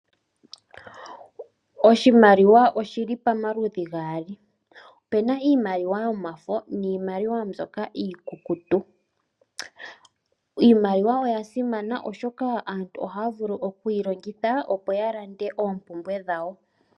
Oshimaliwa oshili pamaludhi gaali ope na iimaliwa yomafo niimaliwa mbyoka iikukutu. Iimaliwa oya simana oshoka aantu oha ya vulu oku yilongitha opo ya landa oompumbwe dhawo.